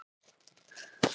Þú stendur þig vel, Sólbrún!